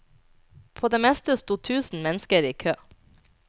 På det meste sto tusen mennesker i kø.